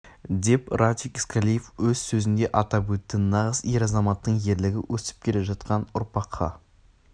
деп радик искалиев өз сөзінде атап өтті нағыз ер азаматтың ерлігі өсіп келе жатқан ұрпаққа